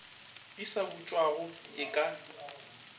di sa butšwago e ka